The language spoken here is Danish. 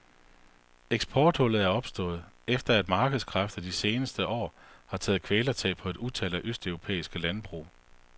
Eksporthullet er opstået, efter at markedskræfter de senere år har taget kvælertag på et utal af østeuropæiske landbrug.